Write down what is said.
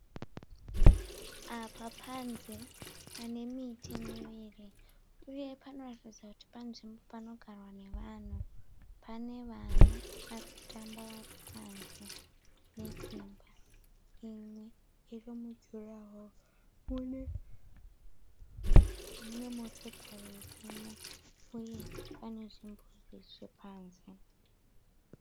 Apa panze panemiti miviri uye panoratidza kuti panzvimbo panogarwa nevanhu. Panevana varikutamba varipanze nedzimba imwe irimujuraho, munemotokari irimo uye pane zvimbuzi zvepanze.